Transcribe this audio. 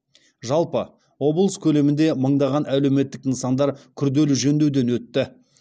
жалпы облыс көлемінде мыңдаған әлеуметтік нысандар күрделі жөндеуден өтті